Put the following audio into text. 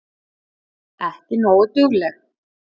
Ekki nógu dugleg.